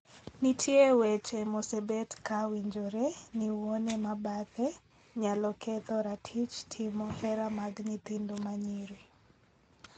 Nitie weche mosebet ka winjore ni wuone ma bathe (keny mar ariyo) nyalo ketho ratich timo hera mag nyithindo manyiri.